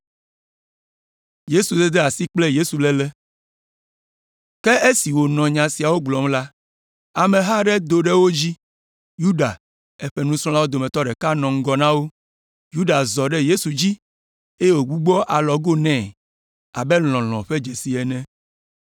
Ke esi wònɔ nya siawo gblɔm la, ameha aɖe do ɖe wo dzi. Yuda, eƒe nusrɔ̃lawo dometɔ ɖeka nɔ ŋgɔ na wo. Yuda zɔ ɖe Yesu dzi, eye wògbugbɔ alɔgo nɛ abe lɔlɔ̃ ƒe dzesi ene.